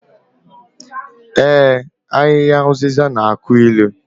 Ee, Ahịhịa ụzịza na-akụ ilu